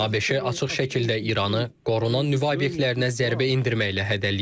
ABŞ açıq şəkildə İranı qorunan nüvə obyektlərinə zərbə endirməklə hədələyir.